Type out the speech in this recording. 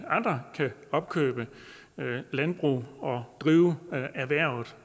andre kan opkøbe landbrug og drive erhvervet